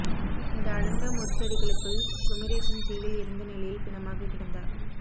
இந்த அடர்ந்த முட்செடிகளுக்குள் குமரேசன் தீயில் எரிந்த நிலையில் பிணமாக கிடந்தார்